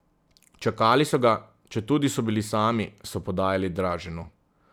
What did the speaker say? Čakali so ga, četudi so bili sami, so podajali Draženu.